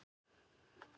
í Kanada.